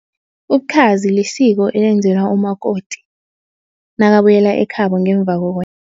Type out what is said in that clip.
Ubukhazi lisiko elenzelwa umakoti, nakabuyela ekhabo ngemva